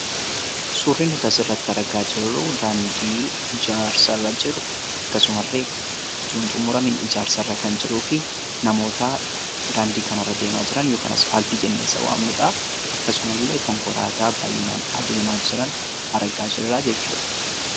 Suurri nuti asirratti argaa jirru daandii ijaarsarra jiru akkasumallee osoo hin xumuramiin ijaarsarra jiruu fi namoota daandii kanarra deemaa jiran yookaan asfaaltii jennee isa waamnudha. Akkasumallee konkolaataa fayyinaan adeemaa jiran argina jechuudha.